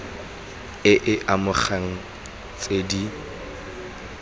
e e amegang tse di